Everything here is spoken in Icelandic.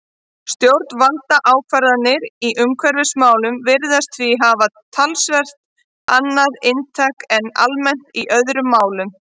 Stjórnvaldsákvarðanir í umhverfismálum virðast því hafa talsvert annað inntak en almennt er í öðrum málum.